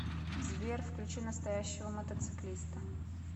сбер включи настоящего мотоциклиста